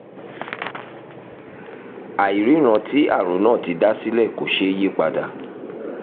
àìríran tí àrùn náà ti dá sílẹ̀ kò ṣeé yí padà